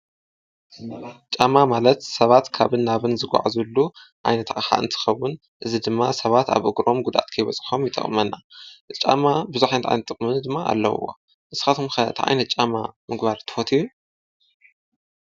ጫማ ማለት ሰባት ካብን ናብን ዝጐዓዝሉሉ ዓይነት ኣቕሓ እንትኸውን እዚ ድማ ሰባት ኣብ እግሮም ጕዳኣት ከይበፅሖም ይጠቕመና፡፡ ጫማ ብዙሕ ዓይነት ጥቕሚ ድማ ኣለዉዎ፡፡ ንስኻትኩም ከ ታይ ዓይነት ጫማ ምግባር ትፈትዩ?